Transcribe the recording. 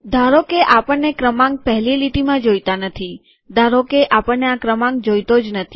ધારોકે આપણને ક્રમાંક પહેલી લીટીમાં જોઈતા નથી ધારોકે આપણને આ ક્રમાંક જોઈતો જ નથી